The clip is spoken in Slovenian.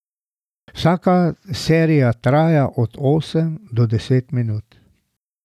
Vsaka serija traja od osem do deset minut.